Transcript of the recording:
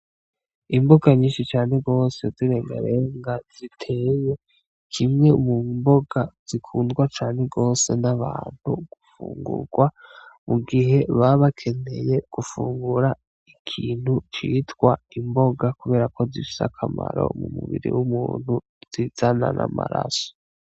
Imboga nyinshi cane gose z'irengarenga ziteye, kimwe mu mboga zikundwa cane gose n'abantu gufungurwa mu gihe baba bakeneye gufungura ikintu citwa imboga kuberako zifise akamaro mu mubiri w'umuntu, zizana n'amaraso.